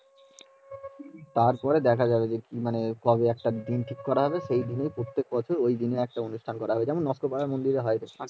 তার পরে দেখা যাবে মানে কবে একটা দিন ঠিক করা হবে সেই দিনে প্রত্যেক বছর ওই দিনে একটা অনুষ্ঠান করা হবে